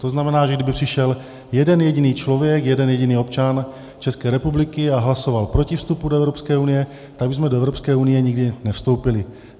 To znamená, že kdyby přišel jeden jediný člověk, jeden jediný občan České republiky, a hlasoval proti vstupu do Evropské unie, tak bychom do Evropské unie nikdy nevstoupili.